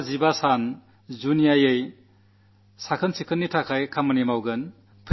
എല്ലാ വകുപ്പുകളും 15 ദിവസം സ്വച്ഛതയിൽ വിശേഷാൽ ശ്രദ്ധ കേന്ദ്രീകരിക്കും